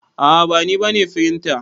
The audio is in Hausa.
A'a ba ni bane firinta.